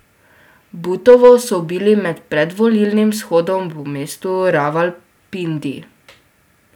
Butovo so ubili med predvolilnim shodom v mestu Ravalpindi.